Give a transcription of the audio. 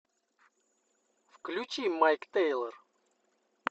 включи майк тэйлор